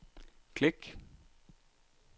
klik